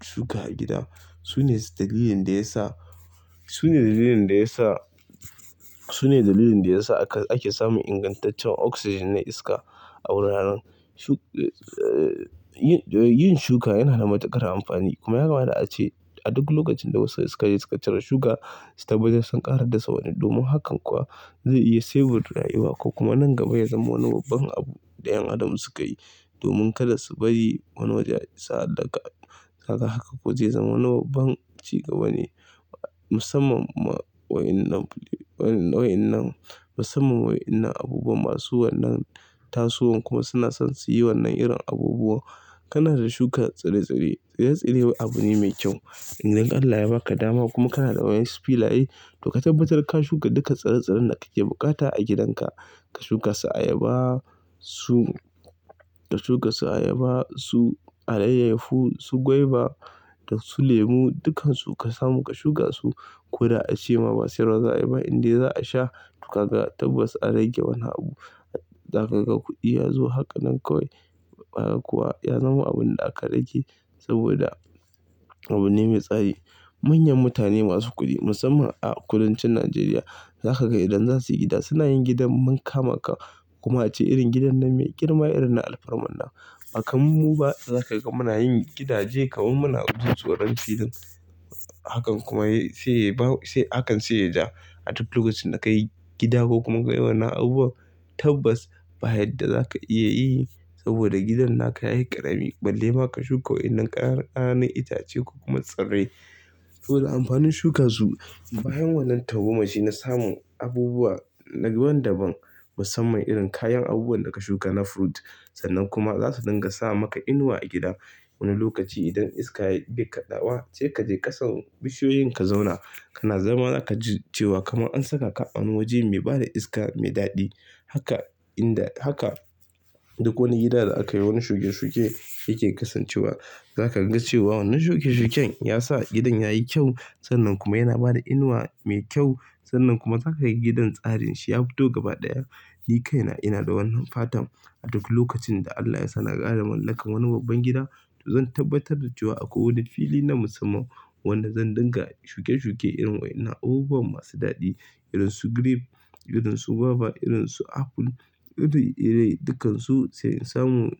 shuka a gida su ne dalilin da ya sa, su ne dalilin da ya sa, su ne dalilin da ya sa aka, ake samun ingantaccen oxygen na iska a wuraren. Yin, yin shuka yana da matuƙar amfani. Kuma yake mana da ace a duk lokacin da wasu suka je suka cire shuka, su tabbatar sun ƙara dasa wani. Domin hakan kuwa zai iya saving da rayuwa ko kuma nan gaba ya zama wani babban abu da ƴan adam suka yi domin kada su bari wani waje ya isa a dauka. Haka haka kuwa zai zama wani babban ci gaba musamman ma wa'inan, wa'inan, musamman wa'innan abubuwan masu wannan tasowan kuma suna son su yi wannan irin abubuwa. Kana da shuka tsire-tsire. Tsire-tsire abu ne mai kyau. Idan Allah ya ba ka dama kuma kana da waɗansu filaye to ka tabbatar ka shuka duka tsire-tsiren da kake buƙata a gidanka. Ka shuka su ayaba, su, ka shuka su ayaba, su alayahu, su gwaiba da su lemu. Dukansu ka samu ka shuka su. Ko da a ce ma ba siyarwa za a yi ba indai za a sha to ka ga tabbas an rage wani abu. Za ka ga kuɗi ya zo. Haka nan kawai, haka kuwa ya zama abin da aka rage saboda abu ne mai tsari. Manyan mutane masu kuɗi musamman a kudancin Najeriya za ka ga idan za su yi gida suna yin gidan maka-maka. Kuma ce irin gidan nan mai girma irin na alfarma. Ba kamar mu ba da za ka ga muna yin gidaje kawai muna jin tsoron filin. Hakan kuma sai, sai hakan sai ya ja. A duk lokacin da ka yi gida ko kuma kai wannan abubuwan tabbas ba yadda za ka iya yi saboda gidan naka yayi ƙarami balle ma ka shuka wa'innan ƙananan itace ko kuma tsirrai. To da amfanin shuka su bayan wannan tagomashi na samu abubuwa daban-daban musamman irin kayan abubuwan da ka shuka na fruit. Sannan kuma za su dinga sa maka inuwa a gida. Wani lokaci idan iska yake be kaɗawa sai ka je ƙasan bishiyoyin ka zauna. Kana zama za ka ji cewa kamar an saka ka a wani waje mai bada iska mai daɗi. Duka inda, haka duk wani gida da aka yi wani shuke-shuke yake kasancewa. Za ka ga cewa wannan shuke-shuken ya sa gidan yayi kyau. Sannan kuma yana bada inuwa mai kyau. Sannan kuma za ka ga gidan tsarin shi ya fito gaba ɗaya. Ni kaina ina da wannan fatan a duk lokacin da Allah yasa na ƙara mallakar wani babban gida to zan tabbatar da cewa akwai wani fili na musamman wanda zan dinga shuke-shuke irin wa'innan abubuwan masu daɗi. Irin su grape, irin su guava, irin su apple, iri-iri dukansu sai in samu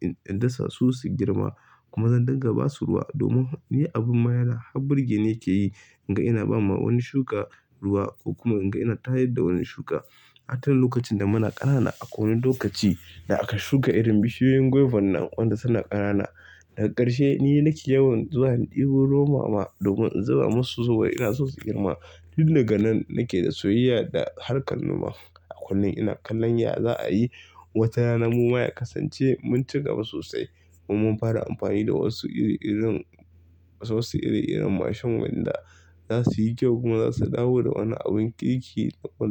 in dasa su su girma. Kuma zan dinga ba su ruwa domin ni abin ma har burgeni yake yi. Inga ina ba ma wani shuka ruwa ko kuma inga ina tayar da wani shuka. A can lokacin da muna ƙanana akwai wani lokaci da aka shuka irin bishiyoyin gwaiban nan wanda suna ƙanana. Daga ƙarshe ni nake yawan zuwa ɗebo ruwan mama domin in zuba masu saboda ina so su girma. Tun daga nan nake da soyayya da harkar noma. A kullum ina kallon ya za a yi. Wata rana mu ma ya kasance mun ci gaba sosai kuma mun fara amfani da wasu ire-iren wasu ire-iren mashin wanda za su yi kyau kuma za su dawo da wani abin ƙirki da wani.